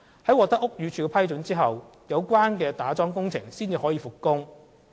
在獲得屋宇署批准後，有關打樁工程才可復工。